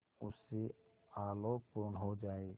उससे आलोकपूर्ण हो जाए